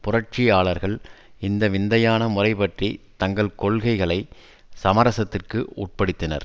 புரட்சியாளர்கள் இந்த விந்தையான முறை பற்றி தங்கள் கொள்கைகளை சமரசத்திற்கு உட்படுத்தினர்